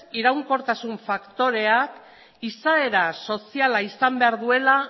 iraunkortasun faktorea izaera soziala izan behar duela